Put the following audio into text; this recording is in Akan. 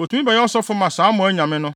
otumi bɛyɛ ɔsɔfo ma saa mo anyame no.